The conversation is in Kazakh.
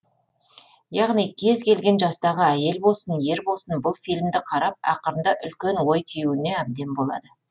яғни кез келген жастағы әйел болсын ер болсын бұл фильмді қарап ақырында үлкен ой түюіне әбден болады